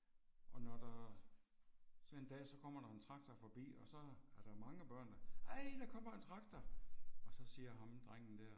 Og når der sådan en dag så kommer der en traktor forbi og så er der mange børn der ej der kommer en traktor! Og så siger ham drengen der